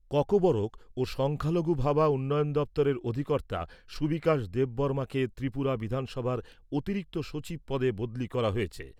ককবরক ও সংখ্যালঘু ভাবা উন্নয়ন দপ্তরের অধিকর্তা সুবিকাশ দেববর্মাকে ত্রিপুরা বিধানসভার অতিরিক্ত সচিব পদে বদলি করা হয়েছে।